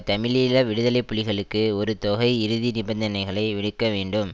தமிழீழ விடுதலை புலிகளுக்கு ஒரு தொகை இறுதி நிபந்தனைகளை விடுக்கவேண்டும்